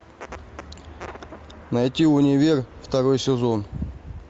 найти универ второй сезон